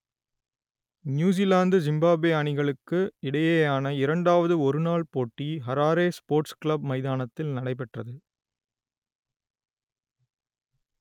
New Zealand Zimbabwe அணிகளுக்கு இடையேயான இரண்டாவது ஒருநாள் போட்டி ஹராரே ஸ்போர்ட்ஸ் கிளப் மைதானத்தில் நடைபெற்றது